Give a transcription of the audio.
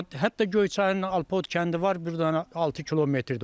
Hə, hətta Göyçayın Alpot kəndi var, bir dənə 6 kilometrdir.